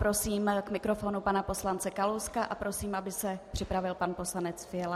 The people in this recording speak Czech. Prosím k mikrofonu pana poslance Kalouska a prosím, aby se připravil pan poslanec Fiala.